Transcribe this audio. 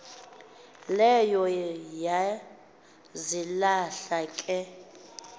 leyo yazilahla ke